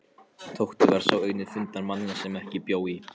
Tóti var sá eini fundarmanna sem ekki bjó í